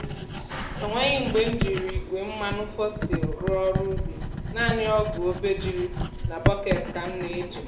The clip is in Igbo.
e nweghị mgbe m jiri igwe mmanụ fossil rụọ ọrụ ubi naanị ọgù obejiri na bọketi ka m na-eji.